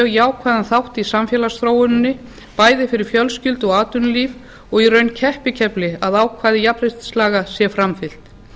jákvæðan þátt í samfélagsþróuninni bæði fyrir fjölskyldu og atvinnulíf og í raun keppikefli að ákvæði jafnréttislaga sé framfylgt